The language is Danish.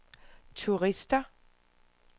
turister